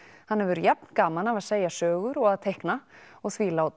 hann hefur jafn gaman af að segja sögur og að teikna og því lá